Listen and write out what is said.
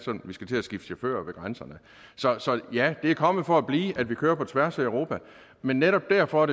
vi skal til at skifte chauffør ved grænsen så ja det er kommet for at blive at vi kører på tværs af europa men netop derfor